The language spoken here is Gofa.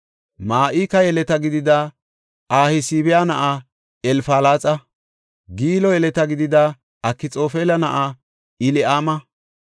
Ma7ika yeleta gidida Ahasbaya na7aa Elfalaxa, Gilo yeleta gidida Akxoofela na7aa Eli7aama,